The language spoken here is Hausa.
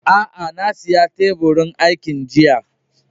A'a, na siya teburin aikin jiya.